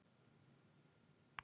Vatn vatn vatn